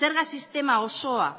zerga sistema osoa